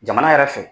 Jamana yɛrɛ fɛ